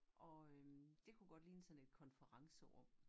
Og øh det kunne godt ligne sådan et konferencerum